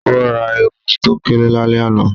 O ra èwù to kéré lálẹ́ àná